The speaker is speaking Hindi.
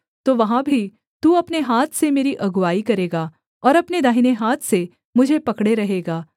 तो वहाँ भी तू अपने हाथ से मेरी अगुआई करेगा और अपने दाहिने हाथ से मुझे पकड़े रहेगा